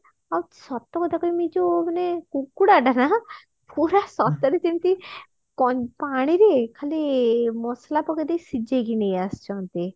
ଆଉ ସତ କଥା କହିମି ଏଯୋଉ ମାନେ କୁକୁଡା ଟା ନା ପୁରା ସତରେ ଯେମତି କ ପାଣିରେ ଖାଲି ମସଲା ପକେଇଦେଇ ସିଜେଇକି ନେଇ ଆସିଛନ୍ତି